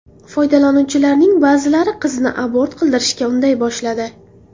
Foydalanuvchilarning ba’zilari qizni abort qildirishga unday boshladi.